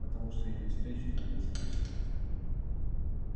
потому что или встречу или не встречу